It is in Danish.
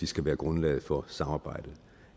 skal være grundlaget for samarbejdet